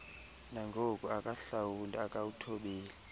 nangoku akahlawuli akawuthobeli